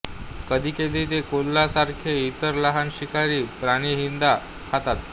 कधीकधी ते कोल्ह्यासारखे इतर लहान शिकारी प्राणीहीद्धा खातात